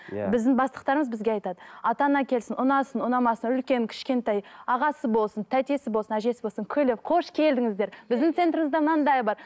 иә біздің бастықтарымыз бізге айтады ата ана келсін ұнасын ұнамасын үлкен кішкентай ағасы болсын тәтесі болсын әжесі болсын күліп қош келдіңіздер біздің центрымызда мынадай бар